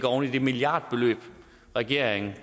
oven i det milliardbeløb regeringen